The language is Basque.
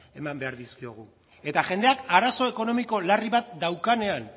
eman behar dizkiogu eta jendeak arazo ekonomiko larri bat daukanean